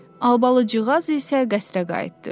Albalıcığaz isə qəsrə qayıtdı.